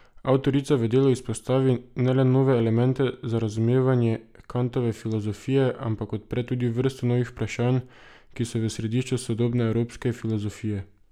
Avtorica v delu izpostavi ne le nove elemente za razumevanje Kantove filozofije, ampak odpre tudi vrsto novih vprašanj, ki so v središču sodobne evropske filozofije.